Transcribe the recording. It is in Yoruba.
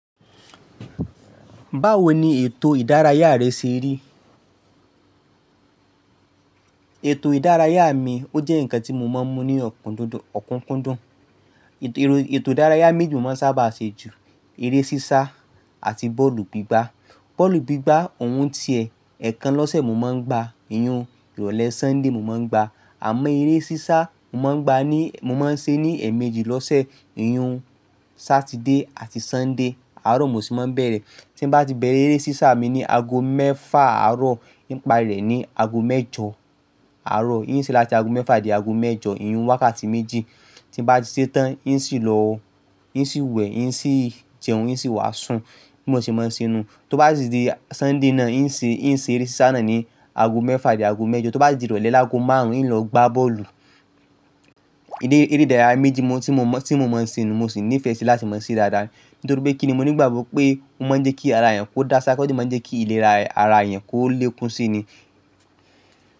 Báwo ni ètò ìdárayá rẹ ṣe rí? Ètò ìdárayá mi ó jẹ́ ǹkan tí mo máa ń mú ní òkúnkundùn. Ètò ìdárayá méjì mo máa ń sábà ṣe ju, eré sísá àti bọ́ọ̀lù gbígbá. Bọ́ọ̀lù gbígbá òun tiẹ̀ ẹẹkan lọ́sẹ̀ mo máa ń gba, ìhun ìrọ̀lẹ́ Sunday mo máa ń gba. Àmọ́ eré sísá mo máa ń ṣe ní ẹ̀ẹ̀mejì lọ́sẹ̀, ìhun Saturday àti Sunday, àárọ̀ mo sì máa ń bẹ̀rẹ̀. Tí mo bá ti bẹ̀rẹ̀ eré sísá mi ní ago mẹ́fà àárọ̀, hin parí rẹ̀ ni ago mẹ́jọ àárọ̀. Hín ṣé láti ago mẹ́fà di ago mẹ́jọ, ìyun wákàtí méjì. Tí mo bá ti ṣetán, hín ṣì lọ wẹ̀, hín ṣì jẹun, hín ṣì wàásù bí mo ò ṣe máa ṣe nú. Tó bá si di Sunday náà, hín ṣé eré sísá náà ní ago mẹ́fà dé ago mẹ́jọ. Tó bá di ìrọ̀lẹ́ lágo márùn-ún, hín lọ gbá bọ́ọ̀lù. Eré ìdárayá méjì tí mo máa ń ṣe, mo sì nífẹ̀ẹ́ sí i láti máa ṣe daádaá. Nítorí pé kíni mo ní ìgbàgbọ́ pé ó máa ń jẹ́ kí ara èèyàn kó dáṣá, osì máa ń jẹ́ kí ìlera ara èèyàn kó lékún si ni.